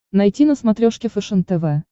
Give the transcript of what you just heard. найти на смотрешке фэшен тв